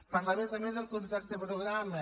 parlaré també del contracte programa